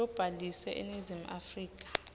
lobhaliswe eningizimu afrika